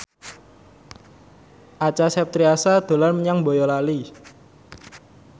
Acha Septriasa dolan menyang Boyolali